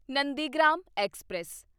Nandigram express